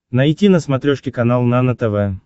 найти на смотрешке канал нано тв